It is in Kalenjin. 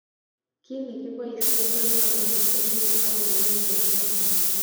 Kit nekiboishen konyolu ko tilil ak komi en oret nekararan.